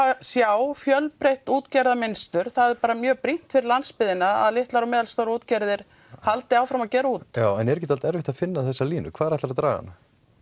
sjá fjölbreytt útgerðarmynstur það er bara mjög brýnt fyrir landsbyggðina að litlar og meðalstórar útgerðir haldi áfram að gera út en er ekkert erfitt að finna þessa línu hvar ætlarðu að draga hana